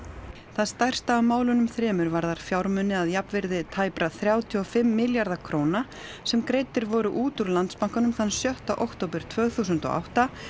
það stærsta af málunum þremur varðar fjármuni að jafnvirði tæpra þrjátíu og fimm milljarða króna sem greiddir voru út úr Landsbankanum þann sjötta október tvö þúsund og átta